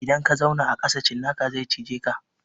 Idan ka zauna a ƙasa cinnaka zai cije ka.